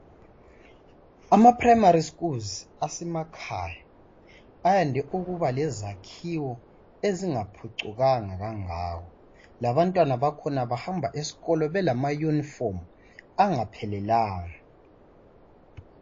Ama primary schools asemakhaya ayande ukuba lezakhiwo ezingaphucukanga labantwana bakhona bahamba esikolo belama yunifomu angaphelelanga.